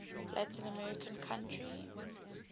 latin american country